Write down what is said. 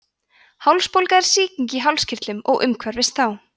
hálsbólga er sýking í hálskirtlum og umhverfis þá